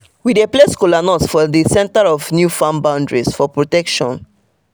we dey place kola nuts for the center of new farm boundaries for protection.